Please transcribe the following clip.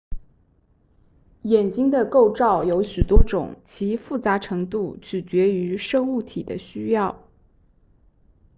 眼睛的构造有许多种其复杂程度取决于生物体的需要